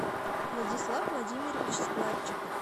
владислав владимирович складчиков